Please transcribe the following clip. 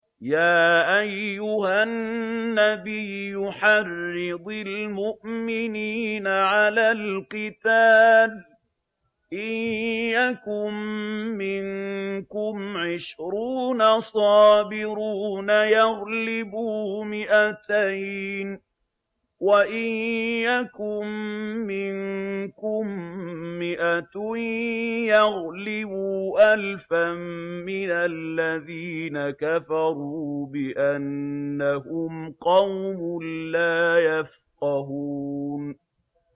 يَا أَيُّهَا النَّبِيُّ حَرِّضِ الْمُؤْمِنِينَ عَلَى الْقِتَالِ ۚ إِن يَكُن مِّنكُمْ عِشْرُونَ صَابِرُونَ يَغْلِبُوا مِائَتَيْنِ ۚ وَإِن يَكُن مِّنكُم مِّائَةٌ يَغْلِبُوا أَلْفًا مِّنَ الَّذِينَ كَفَرُوا بِأَنَّهُمْ قَوْمٌ لَّا يَفْقَهُونَ